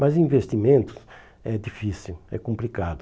Mas investimento é difícil, é complicado.